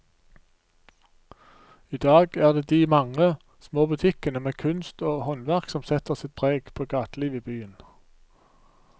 I dag er det de mange små butikkene med kunst og håndverk som setter sitt preg på gatelivet i byen.